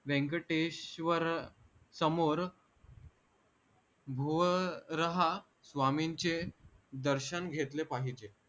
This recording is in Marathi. व्यंकटेश्वर समोर भुव रहा स्वामींचे दर्शन घेतले पाहिजे